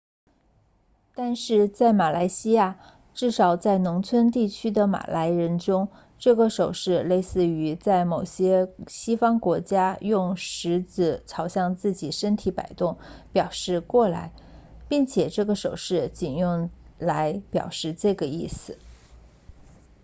但是在马来西亚至少在农村地区的马来人中这个手势类似于在某些西方国家用食指朝自己身体摆动表示过来并且这个手势仅用来表示这个意思